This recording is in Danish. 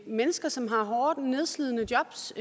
mennesker som har hårde nedslidende jobs